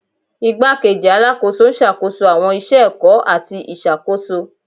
Igbakeji Alakoso n ṣakoso awọn iṣẹ ẹkọ ati iṣakoso